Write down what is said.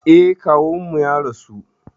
Eh, kawunmu ya rasu